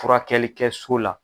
Furakɛli kɛ so la.